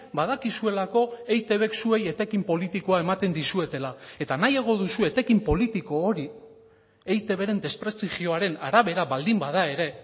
badakizuelako eitbk zuei etekin politikoa ematen dizuetela eta nahiago duzue etekin politiko hori eitbren desprestigioaren arabera baldin bada ere